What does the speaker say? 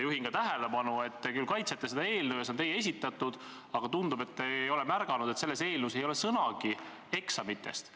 Juhin tähelepanu ka sellele, et te kaitsete seda eelnõu ja see on valitsuse algatatud, aga tundub, et te ei ole märganud, et selles eelnõus ei ole sõnagi eksamitest.